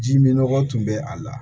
Ji min nɔgɔ tun bɛ a la